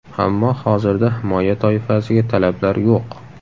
Ammo hozirda himoya toifasiga talablar yo‘q.